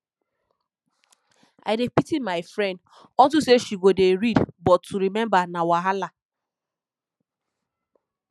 i dey pity my friend unto say she go dey read but to remember na wahala